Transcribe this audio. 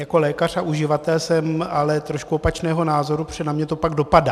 Jako lékař a uživatel jsem ale trošku opačného názoru, protože na mě to pak dopadá.